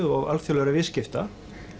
og alþjóðlegra viðskipta